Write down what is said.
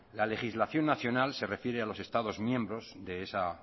la legislación nacional ser refiere a los estados miembros de esa